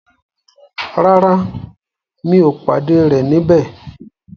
Rárá, mi ò pàdé rẹ̀ níbẹ̀.